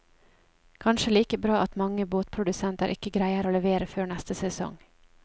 Kanskje like bra at mange båtprodusenter ikke greier å levere før neste sesong.